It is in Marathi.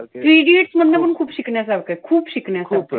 Three idiots मधनं पण खूप शिकण्यासारखं आहे. खूप शिकण्यासारखं.